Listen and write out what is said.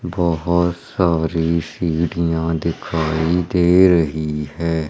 बहोत सारी सीढ़ियां दिखाई दे रही है।